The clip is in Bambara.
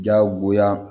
Jagoya